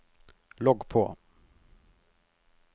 logg på